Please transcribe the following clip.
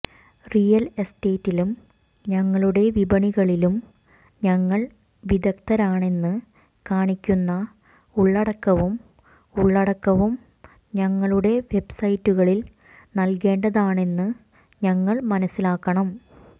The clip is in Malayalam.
റിയൽ എസ്റ്റേറ്റിലും ഞങ്ങളുടെ വിപണികളിലും ഞങ്ങൾ വിദഗ്ധരാണെന്ന് കാണിക്കുന്ന ഉള്ളടക്കവും ഉള്ളടക്കവും ഞങ്ങളുടെ വെബ്സൈറ്റുകളിൽ നൽകേണ്ടതാണെന്ന് ഞങ്ങൾ മനസ്സിലാക്കണം